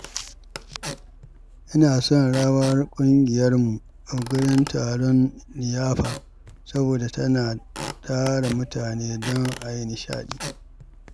Ina son rawar ƙungiyarmu a gurin taron liyafa saboda tana tara mutane don ai nishaɗi.